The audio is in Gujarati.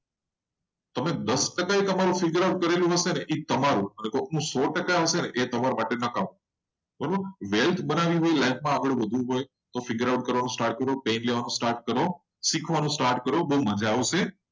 તમે દસ ટકા તમારું figure out કરેલું હ. શે ને અને એનું સો ટકા આવશે ને તો એ તમારા માટે profit life માં આગળ વધવું હોય. તો પેન લેવાનું start કરો. start કરો તો બહુ મજા આવશે.